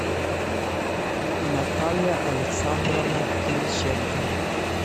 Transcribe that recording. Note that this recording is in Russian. наталья александровна кириченко